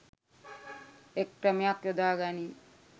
එක් ක්‍රමයක් යොදා ගනී.